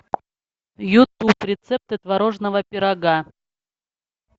ютуб рецепты творожного пирога